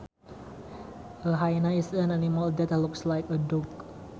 A hyena is an animal that looks like a dog